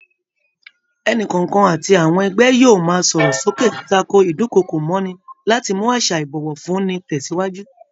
Ẹnìkọ̀ọ̀kan àti àwọn ẹgbẹ́ yóò máa sọ̀rọ̀ sókè tako ídùnkokò mọ́'ni láti mú àṣà ìbọ̀wọ̀ fún ni tẹsiwaju